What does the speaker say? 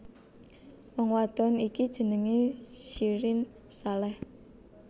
Wong wadon iki jenengé Syirin Saleh